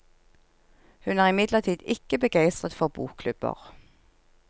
Hun er imidlertid ikke begeistret for bokklubber.